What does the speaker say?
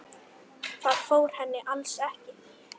Það fór henni alls ekki.